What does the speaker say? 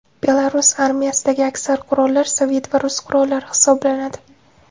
Belarus armiyasidagi aksar qurollar sovet va rus qurollari hisoblanadi.